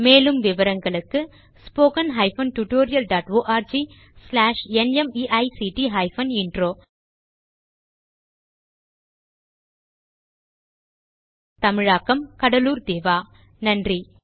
மேலும் விவரங்களுக்கு spoken hyphen tutorial dot org slash NMEICT hyphen intro தமிழாக்கம் கடலூர் திவா நன்றி